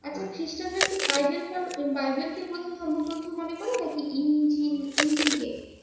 এখন খ্রীস্টানরা কি বাইবেল বাইবেলকে প্রধান ধর্মগ্রন্থ মনে নাকি ইনজিল ইনজিলকে